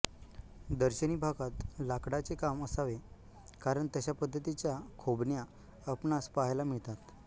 दर्शनी भागात लाकडाचे काम असावे कारण तश्या पद्धतीच्या खोबण्या आपणास पाहायला मिळतात